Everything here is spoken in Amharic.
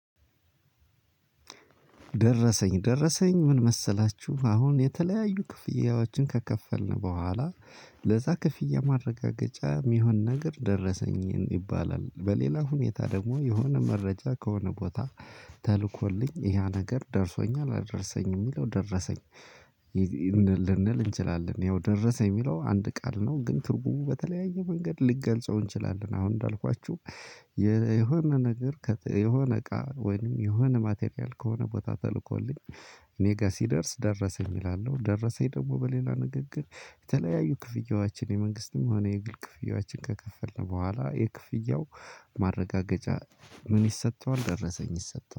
ደረሰኝ ደረሰኝ ምን መሰላችሁ አሁን የተለያዩ ክፍያዎችን ከከፈልን በኋላ ለዛ ክፍያ ማረጋገጫ የሚሆን ነገር ደረሰኝ ይባላል በሌላ ሁኔታ ደግሞ የሆነ መረጃ ከሆነ ቦታ ተልኮልኝ ያ ነገር ደርሶኛል አልደርሰኝም የሚለው ደረሰኝ። ልንል እንችላለን ያው ደረሰኝ የሚለው አንድ ቃል ነው። ግን ትርጉሙ በተለያየ መንገድ ልንገልጸው እንችላለን። አሁን እንዳልኳችሁ የሆነ ነገር የሆነ እቃ ወይንም የሆነ ማቴሪያል ከሆነ ቦታ ተልኮልኝ እኔ ጋር ሲደርስ ደረሰኝ እላለሁ። ደረሰኝ ደግሞ በሌላ ንግግር የተለያዩ ክፍያዎችን የመንግስትም ሆነ የግብር ክፍያዎችን ከከፈልን በኋላ የክፍያው ማረጋገጫ ምን ይሰጠዋል ደረሰኝ ይሰጠዋል